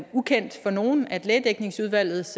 ukendt for nogen at lægedækningsudvalgets